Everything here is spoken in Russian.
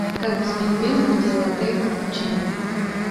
как взбить пенку для латте и капучино